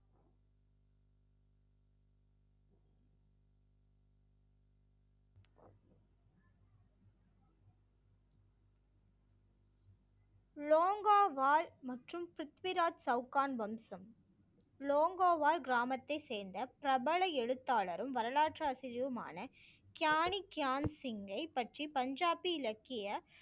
லோங்கோவால் மற்றும் பிருத்விராஜ் சவுகான் வம்சம். லோங்கோவால் கிராமத்தை சேர்ந்த பிரபல எழுத்தாளரும் வரலாற்று ஆசிரியருமான கியானிக்கியான்சிங்கை பற்றி பஞ்சாபி இலக்கிய